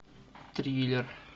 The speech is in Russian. триллер